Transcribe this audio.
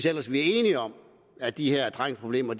ellers er enige om at de her trængselsproblemer